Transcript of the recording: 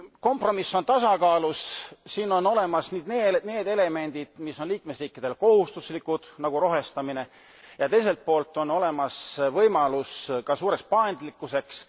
Kompromiss on tasakaalus siin on olemas need elemendid, mis on liikmesriikidele kohustuslikud, nagu rohestamine, ja teiselt poolt on olemas võimalus ka suureks paindlikkuseks.